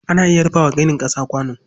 Ana iya rufa wa ginin ƙasa kwano.